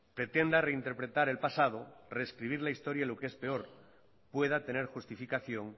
pretenda reinterpretar el pasado rescribir la historia y lo que es peor pueda tener justificación